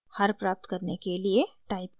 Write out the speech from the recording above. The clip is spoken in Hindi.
हर प्राप्त करने के लिए टाइप करें: